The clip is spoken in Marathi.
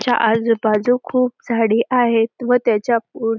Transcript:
त्याच्या आजूबाजू खूप झाडी आहेत व त्याच्या पुढे-